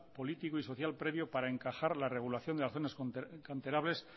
político y social previo para encajar la regulación de las zonas canterables